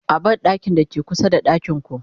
a banɗakin da ke kusa da ɗakinku